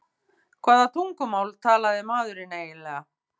Hvaða tungumál talaði maðurinn eiginlega?